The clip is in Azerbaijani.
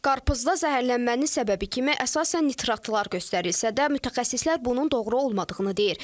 Qarpızda zəhərlənmənin səbəbi kimi əsasən nitratlar göstərilsə də, mütəxəssislər bunun doğru olmadığını deyir.